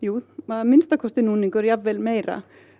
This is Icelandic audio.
að minnsta kosti núningur jafnvel meira